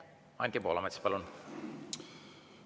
Anti Poolamets, palun!